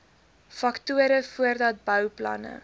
faktore voordat bouplanne